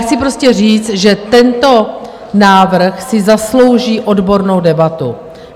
Chci prostě říct, že tento návrh si zaslouží odbornou debatu.